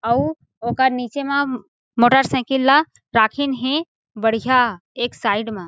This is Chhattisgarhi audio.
अउ ओकर नीचे मा मोटर साइकिल ला राखिन हे बढ़िया एक साइड मा --